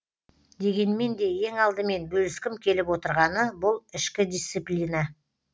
дегенмен де ең алдымен бөліскім келіп отырғаны бұл ішкі дисциплина